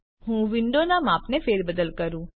ચાલો હું વિન્ડોનાં માપમાં ફેરબદલ કરું